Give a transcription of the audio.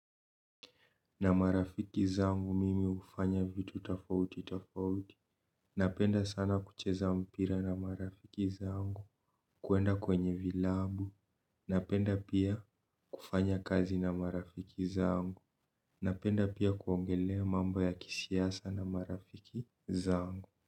Na marafiki zangu mimi ufanya vitu tofauti tofauti. Napenda sana kucheza mpira na marafiki zangu. Kuenda kwenye vilabu napenda pia kufanya kazi na marafiki zangu. Napenda pia kuongelea mambo ya kisiasa na marafiki zangu.